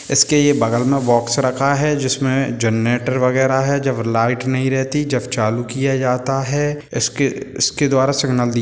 इसके ये बगल में बॉक्स रखा है जिसमें जनरेटर वगैरा है जब लाइट नहीं रहती जब चालू किया जाता है इसके इसके द्वारा सिगनल दी --